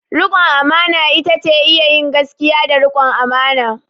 Rikon amana ita ce iya yin gaskiya da rikon amana.